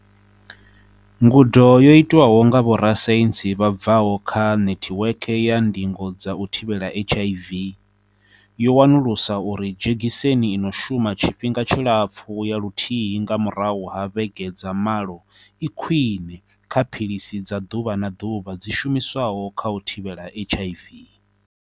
Ngudo, yo itwaho nga vhorasaintsi vha bvaho kha Nethiweke ya Ndingo dza u Thivhela HIV, yo wanulusa uri dzhegiseni ino shuma tshi-fhinga tshilapfu ya luthihi nga murahu ha vhege dza malo i khwiṋe kha philisi dza ḓuvha na ḓuvha dzi shumiswaho kha u thivhela HIV.